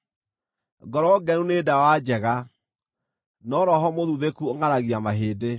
Ngoro ngenu nĩ ndawa njega, no roho mũthuthĩku ũngʼaragia mahĩndĩ.